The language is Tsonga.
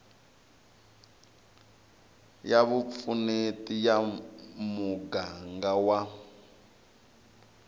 ya vupfuneti ya muganga wa